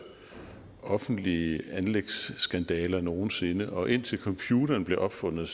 offentlige anlægsskandaler nogen sinde og indtil computeren blev opfundet